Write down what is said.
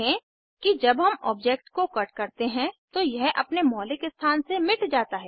देखें कि जब हम ऑब्जेक्ट को कट करते हैं तो यह अपने मौलिक स्थान से मिट जाता है